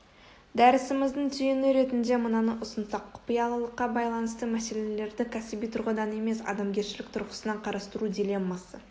дәрісіміздің түйіні ретінде мынаны ұсынсақ құпиялылыққа байланысты мәселелерді кәсіби тұрғыдан емес адамгершілік тұрғысынан қарастыру дилеммасы